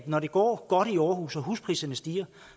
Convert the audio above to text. når det går godt i aarhus og huspriserne stiger